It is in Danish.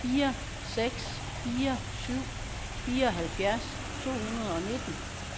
fire seks fire syv fireoghalvfjerds to hundrede og nitten